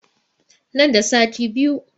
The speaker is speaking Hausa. Nan da sati biyu